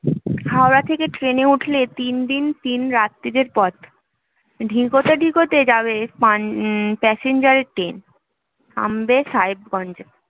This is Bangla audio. হাওড়া থেকে train এ উঠলে তিন দিন তিন রাত্রিরের পথ ধিকতে ধিকতে যাবে passenger এর train থামবে সাহেবগঞ্জ এ